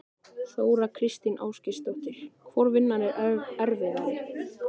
Þóra Kristín Ásgeirsdóttir: Hvor vinnan er erfiðari?